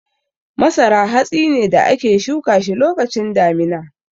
Masara hatsi ne da ake shuka shi lokacin damina.